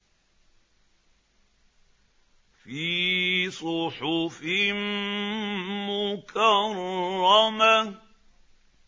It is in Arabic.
فِي صُحُفٍ مُّكَرَّمَةٍ